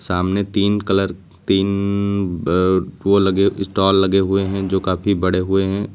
सामने तीन कलर तीन ब वो लगे स्टाल लगे हुए हैं जो काफी बड़े हुए हैं।